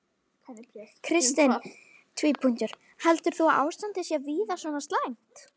Kristinn: Heldur þú að ástandið sé víða svona slæmt?